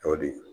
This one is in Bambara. O de